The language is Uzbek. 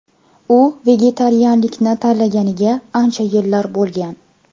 U vegetarianlikni tanlaganiga ancha yillar bo‘lgan.